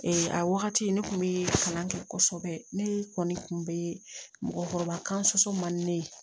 a wagati ne kun bɛ kalan kɛ kosɛbɛ ne kɔni kun bɛ mɔgɔkɔrɔba kan soso man di ne ye